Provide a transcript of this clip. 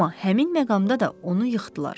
Amma həmin məqamda da onu yıxdılar.